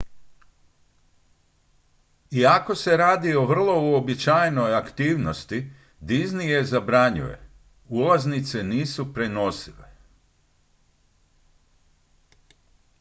iako se radi o vrlo uobičajenoj aktivnosti disney je zabranjuje ulaznice nisu prenosive